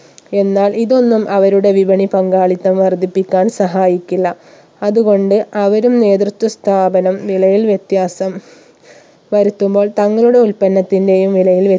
എന്നാൽ ഇതൊന്നും അവരുടെ വിപണി പങ്കാളിത്തം വർധിപ്പിക്കാൻ സഹായിക്കില്ല അതുകൊണ്ട് അവരും നേതൃത്വ സ്ഥാപനം വിലയിൽ വ്യത്യാസം വരുത്തുമ്പോൾ തങ്ങളുടെ ഉൽപ്പന്നത്തിന്റെയും വിലയിൽ